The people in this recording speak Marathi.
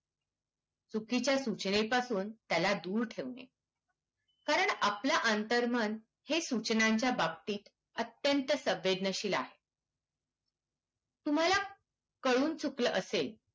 चुकीच्या सुचणे पासून त्याला दूर ठेवणे कारण आपल्या अंतर्मन हे सुचंनांच्या बाबतीत अत्यंत सवेदनशील आहे तुम्हाला कळून चुकलं असेल